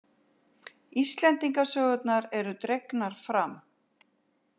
Íslendingasögurnar eru dregnar fram.